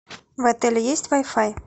в отеле есть вай фай